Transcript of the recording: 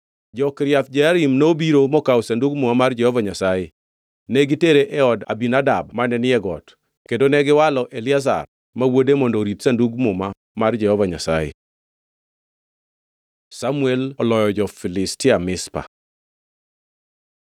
Jo-Kiriath Jearim nobiro mokawo Sandug Muma mar Jehova Nyasaye. Ne gitere e od Abinadab mane ni e got, kendo negiwalo Eliazar ma wuode mondo orit Sandug Muma mar Jehova Nyasaye. Samuel oloyo jo-Filistia Mizpa